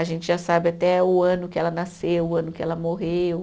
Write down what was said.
A gente já sabe até o ano que ela nasceu, o ano que ela morreu.